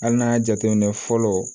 Hali n'an y'a jateminɛ fɔlɔ